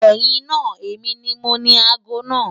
Ẹ̀yin naa, emi ni mọ̀ni àágọ́ naa.